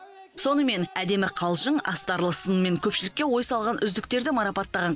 сонымен әдемі қалжың астарлы сынмен көпшілікке ой салған үздіктерді марапаттаған